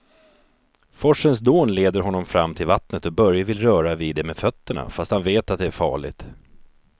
Forsens dån leder honom fram till vattnet och Börje vill röra vid det med fötterna, fast han vet att det är farligt.